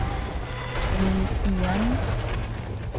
ring igen